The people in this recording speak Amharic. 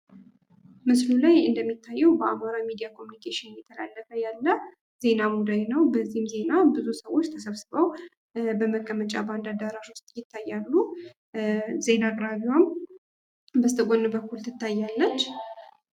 ምስሉ ላይ እንደሚታየዉ በአማራ ሚዲያ ኮሚኒኬሽን እየተላለፈ ያለ ዜና ሙዳይ ነዉ። በዚህም ዜና ብዙ ሰዎች ተሰብስበዉ በመቀመጫ በአንድ አዳራሽ ዉስጥ ይታያሉ። ዜና አቅራቢዋም በስተ ግራ በኩል ትታያለች።